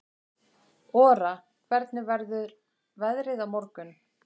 Ora, hvernig verður veðrið á morgun?